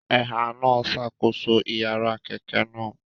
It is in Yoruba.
Ẹ̀há náà ń ṣàkóso ìyára kẹ̀kẹ́ náà